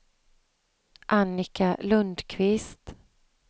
Annika Lundquist